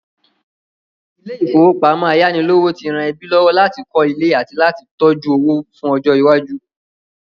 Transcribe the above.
Ilé-ìfowópamọ ayánilówó ti ran ẹbí lọ́wọ́ láti kọ́ ilé àti láti tójú owó fún ọjọ́ iwájú.